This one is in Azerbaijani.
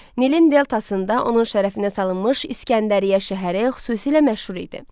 Nilin deltasında onun şərəfinə salınmış İsgəndəriyyə şəhəri xüsusilə məşhur idi.